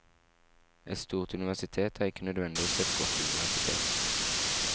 Et stort universitet er ikke nødvendigvis et godt universitet.